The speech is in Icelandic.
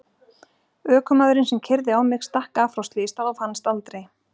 Ökumaðurinn sem keyrði á mig stakk af frá slysstað og fannst aldrei.